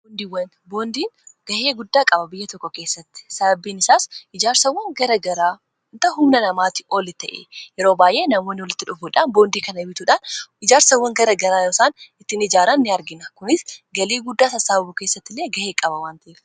boondiin gahee guddaa qaba biyya tokko keessatti sababbiin isaas ijaarsawwan gara garaaan humna namaatti oli ta'e yeroo baay'ee namooni walitti dhufuudhaan boondii kana bituudhaan ijaarsawwan gara garaa yoosaan ittiin ijaaran in argina kunis galii guddaa sassaababu keessatti illee gahee qaba waan ta'eef